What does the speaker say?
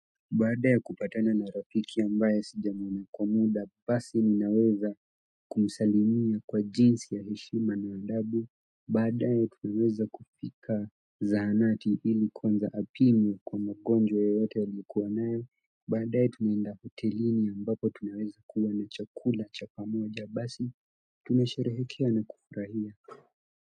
Baada ya kupatana na rafiki ambaye sijamuona kwa muda basi ninaweza kumsalimia kwa jinsi ya heshima na adabu baadaye tuliweza kupika za hanati ili kwanza apimwe kwa magonjwa yote aliyokuwa nayo baadaye tunaenda hotelini ambapo tunaweza kuwa na chakula cha pamoja basi tunasherehekea na kufurahia.